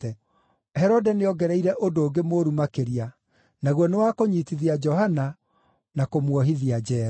Herode nĩongereire ũndũ ũngĩ mũũru makĩria; naguo nĩ wa kũnyiitithia Johana na kũmuohithia njeera.